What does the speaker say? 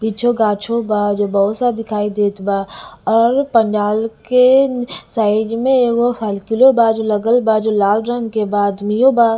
पीछे गाछो बा जो बहुत सा दिखाई देत बा और पंडाल के साइड में एगो साइकिलो बा जो लगल बा जो लाल रंग के बा अदमियो बा--